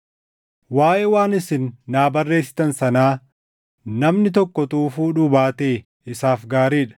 Waaʼee waan isin naa barreessitan sanaa, namni tokko utuu fuudhuu baatee isaaf gaarii dha.